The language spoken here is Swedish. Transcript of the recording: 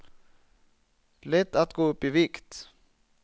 Lätt att gå upp i vikt.